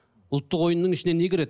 ұлттық ойынның ішіне не кіреді